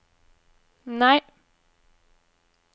nei